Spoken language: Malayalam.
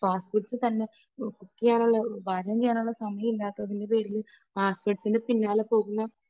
ഫാസ്റ്റ് ഫുഡ്സ് തന്നെ, ഇപ്പോൾ കുക്ക് ചെയ്യാനുള്ള, പാചകം ചെയ്യാനുള്ള സമയം ഇല്ലാത്തതു കൊണ്ട് ഫാസ്റ്റഫുഡ്സിൻറെ പിന്നാലെ പോകുന്ന